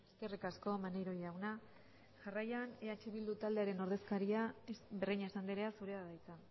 eskerrik asko maneiro jauna jarraian eh bildu taldearen ordezkaria breñas andrea zurea da hitza